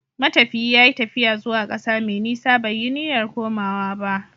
Matafiyi ya yi tafiya zuwa ƙasa mai nisa, bai yi niyyar komawa ba.